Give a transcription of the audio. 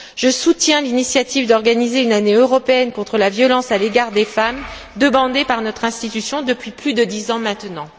Je soutiens l'initiative d'organiser une année européenne contre la violence à l'égard des femmes, demandée par notre institution depuis plus de dix ans maintenant.